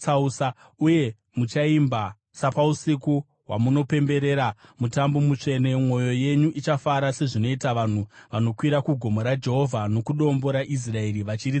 Uye muchaimba sapausiku hwamunopemberera mutambo mutsvene; mwoyo yenyu ichafara sezvinoita vanhu vanokwira kugomo raJehovha, nokuDombo raIsraeri, vachiridza nyere.